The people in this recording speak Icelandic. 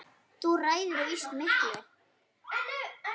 Þú ræður víst miklu.